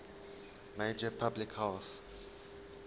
major public health